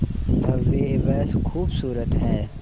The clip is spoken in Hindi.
भव्य व खूबसूरत है